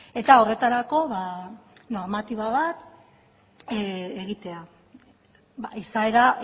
eta horretarako normatiba bat egitea izaera